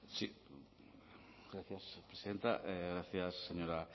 sí gracias presidenta gracias señora